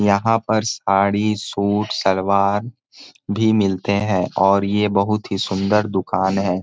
यहाँ पर सारी सूट सलवार भी मिलते है और यह बहुत ही सुंदर दुकान है।